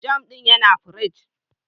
"Jam" din yana pirig.